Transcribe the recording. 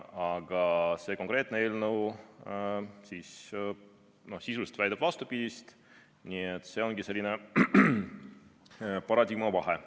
Aga see konkreetne eelnõu sisuliselt väidab vastupidist, nii et see ongi selline paradigma vahe.